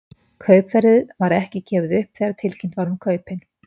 Kaupverðið var ekki gefið upp þegar tilkynnt var um kaupin.